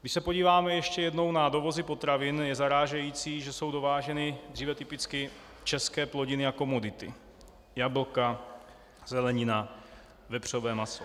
Když se podíváme ještě jednou na dovozy potravin, je zarážející, že jsou dováženy dříve typicky české plodiny a komodity, jablka, zelenina, vepřové maso.